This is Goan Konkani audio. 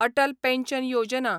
अटल पॅन्शन योजना